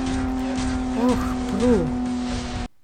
Oh, Pru!